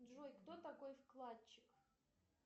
джой кто такой вкладчик